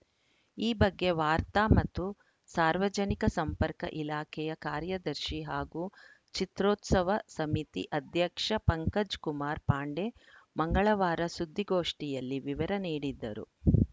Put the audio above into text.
ಈ ಬಗ್ಗೆ ವಾರ್ತಾ ಮತ್ತು ಸಾರ್ವಜನಿಕ ಸಂಪರ್ಕ ಇಲಾಖೆಯ ಕಾರ್ಯದರ್ಶಿ ಹಾಗೂ ಚಿತ್ರೋತ್ಸವ ಸಮಿತಿ ಅಧ್ಯಕ್ಷ ಪಂಕಜ್‌ ಕುಮಾರ್‌ ಪಾಂಡೆ ಮಂಗಳವಾರ ಸುದ್ದಿಗೋಷ್ಠಿಯಲ್ಲಿ ವಿವರ ನೀಡಿದ್ದರು